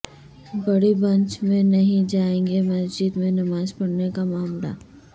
بڑی بنچ میں نہیں جائے گی مسجد میں نماز پڑھنے کا معاملہ